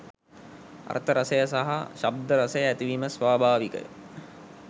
අර්ථ රසය සහ ශබ්ද රසය ඇතිවීම ස්වභාවිකය.